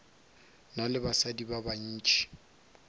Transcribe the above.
na le basadi ba bantši